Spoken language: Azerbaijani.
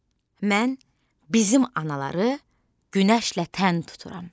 Mən bizim anaları günəşlə tən tuturam.